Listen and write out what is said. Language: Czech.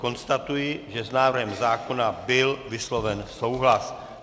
Konstatuji, že s návrhem zákona byl vysloven souhlas.